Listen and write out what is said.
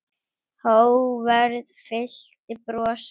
Hógværð fyllti brosið.